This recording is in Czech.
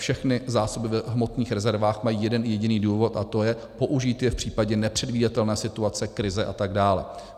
Všechny zásoby v hmotných rezervách mají jeden jediný důvod - a to je použít je v případě nepředvídatelné situace, krize atd.